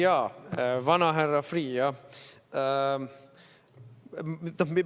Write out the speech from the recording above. Jaa, vanahärra Freeh, jah!